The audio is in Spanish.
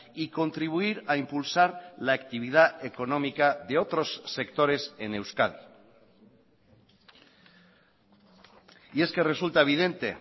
y contribuir a impulsar la actividad económica de otros sectores en euskadi y es que resulta evidente